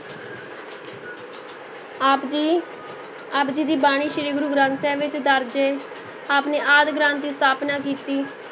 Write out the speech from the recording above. ਆਪ ਜੀ ਆਪ ਜੀ ਦੀ ਬਾਣੀ ਸ੍ਰੀ ਗੁਰੂ ਗ੍ਰੰਥ ਸਾਹਿਬ ਵਿੱਚ ਦਰਜ਼ ਹੈ, ਆਪ ਨੇ ਆਦਿ ਗ੍ਰੰਥ ਦੀ ਸਥਾਪਨਾ ਕੀਤੀ।